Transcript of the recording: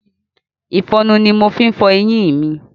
Ìfọnu ni mo fi ń fọ eyín mi.